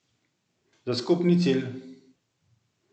Za skupni cilj!